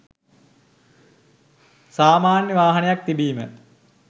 සාමාන්‍ය වාහනයක් තිබීම